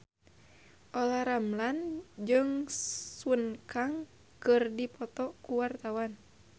Olla Ramlan jeung Sun Kang keur dipoto ku wartawan